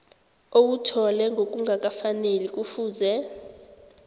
owuthole ngokungakafaneli kufuze